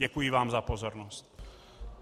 Děkuji vám za pozornost.